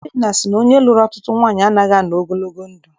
Obinna sị na onye lụrụ ọtụtụ nwaanyị anaghị anọ ogologo ndụ.